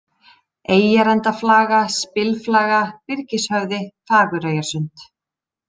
Eyjarendaflaga, Spilflaga, Byrgishöfði, Fagureyjarsund